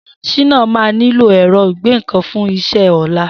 Shina mà niló ẹ̀rọ̀ igbẹ̀nnkán fùn iṣẹ̀ ọlá